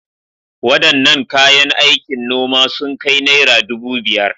Wadannan kayan aikin noma sun kai naira dubu biyar.